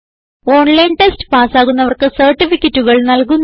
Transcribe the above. online test പാസ്സാകുന്നവർക്ക് സർട്ടിഫികറ്റുകൾ നല്കുന്നു